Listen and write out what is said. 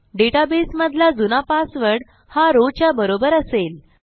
डेटाबेसमधला जुना पासवर्ड हा rowच्या बरोबर असेल